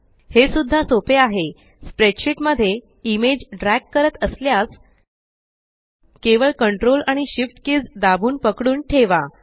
हे सुद्धा सोपे आहे स्प्रेडशीट मध्ये इमेज ड्रॅग करत असल्यास केवळ कंट्रोल आणि Shift कीज़ दाबून पकडून ठेवा